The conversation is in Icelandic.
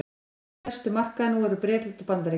okkar stærstu markaðir nú eru bretland og bandaríkin